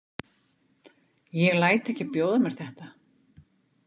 Ég læt ekki bjóða mér þetta.